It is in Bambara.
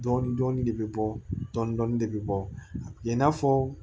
Dɔɔnin dɔɔnin de bɛ bɔ dɔɔnin dɔɔnin de bɛ bɔ a kɛ i n'a fɔ